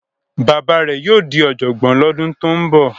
Bàbá rẹ̀ yóò di ọ̀jọ̀gbọ́n lọ́dún tó ń bọ̀.